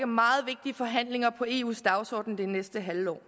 meget vigtige forhandlinger på eus dagsorden det næste halve år